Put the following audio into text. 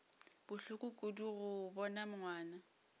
bohloko kudu go bona ngwana